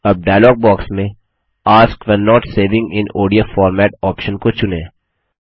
अब dialogue box में ask when not saving in ODF format option को चुनें